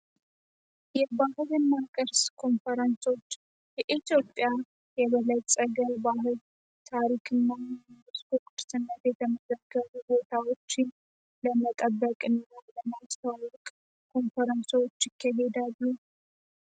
የባህርን እና ቅርስ ኮንፈረንሶች የኢትዮጵያ የበለጸገ ባህል ታሪክና ስኮፕት ስነት የተመዘገሩ ቦታዎችን ለመጠበቅ እና ለናስታዋቅ ኮንፈረንሶች ይከሄዳሉ።